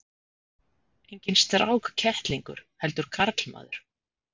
Enginn strákkettlingur heldur karlmaður.